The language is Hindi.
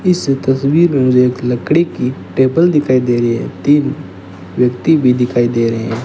इस तस्वीर में मुझे एक लकड़ी की टेबल दिखाई दे रही है तीन व्यक्ति भी दिखाई दे रहे हैं।